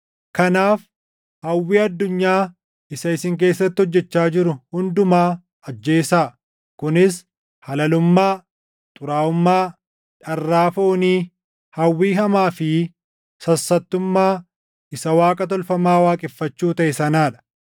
Kanaaf hawwii addunyaa isa isin keessatti hojjechaa jiru hundumaa ajjeesaa; kunis halalummaa, xuraaʼummaa, dharraa foonii, hawwii hamaa fi sassattummaa isa waaqa tolfamaa waaqeffachuu taʼe sanaa dha.